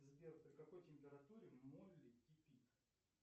сбер при какой температуре молли кипит